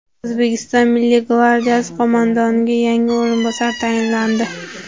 O‘zbekiston Milliy gvardiyasi qo‘mondoniga yangi o‘rinbosarlar tayinlandi.